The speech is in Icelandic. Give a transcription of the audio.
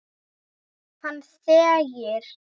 Hann þegir.